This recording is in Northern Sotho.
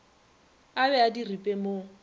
a be a diripe mo